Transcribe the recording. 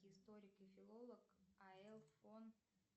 историк и филолог а л фон